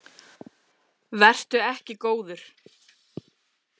Vertu ekki góður.